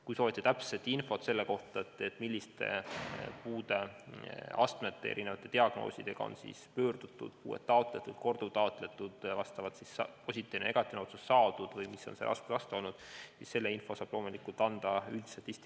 Kui soovite täpset infot selle kohta, milliste puudeastmete ja diagnoosidega on ametnike poole pöördutud, puuet taotletud või korduvtaotletud ning positiivne või negatiivne otsus saadud, siis seda infot saab üldstatistika korras anda loomulikult Sotsiaalkindlustusamet.